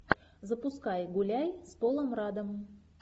запускай гуляй с полом раддом